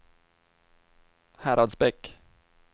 Häradsbäck